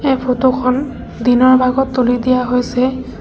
এই ফটো খন দিনৰ ভাগত তুলি দিয়া হৈছে।